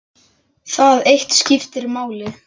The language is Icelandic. Það eitt skipti máli.